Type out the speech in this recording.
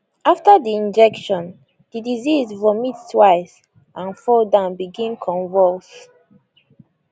after di injection di deceased vomit twice and fall down begin convulse